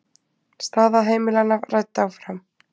Staða heimilanna rædd áfram